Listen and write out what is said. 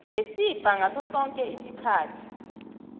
ngesibha ngasosoke isikhathi